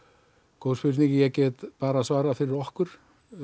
góð spurning ég get bara svarað fyrir okkur